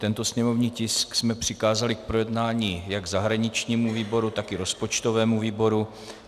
Tento sněmovní tisk jsme přikázali k projednání jak zahraničnímu výboru, tak i rozpočtovému výboru.